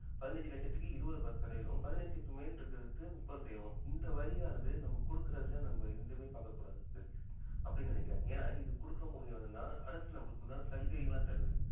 பதினெஞ்சி லட்சத்திற்கு இருபது சதவீதமும் பதினெஞ்சி மேல் இருக்கிறதுக்கு முப்பது சதவீதம் இந்த வரியானது நம்ம குடுக்குறதுலயே நம்ம எந்த இதுவுமே பார்க்கக் கூடாது சதீஷ் அப்படின்னு நினைக்கிறேன் ஏன்னா இது குடுக்க முடியவங்க தான் அரசு நமக்கு உண்டான சலுகைகள்லாம் தருது